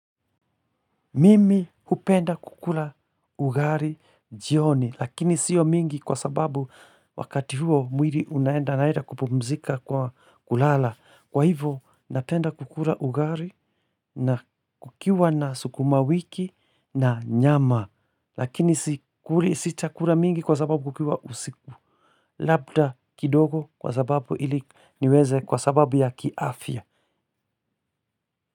Mimi hupenda kukula ugali jioni lakini sio mingi kwa sababu wakati huo mwili unaenda naeda kupumzika kwa kulala. Kwa hivyo napenda kukula ugali na kukiwa na sukuma wiki na nyama lakini sita kula mingi kwa sababu kukiwa usiku. Labda kidogo kwa sababu ili niweze kwa sababu ya kiafya.